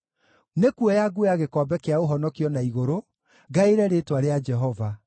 Nĩkuoya nguoya gĩkombe kĩa ũhonokio na igũrũ, ngaĩre rĩĩtwa rĩa Jehova.